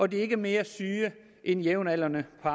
de ikke er mere syge end jævnaldrende på